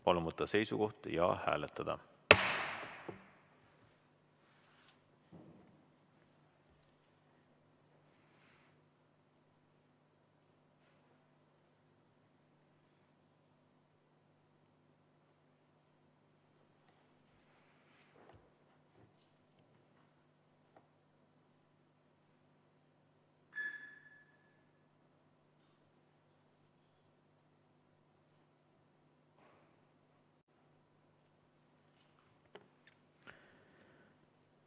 Palun võtta seisukoht ja hääletada!